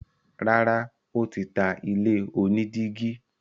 Rárá, ó tí ta ilé onídígí.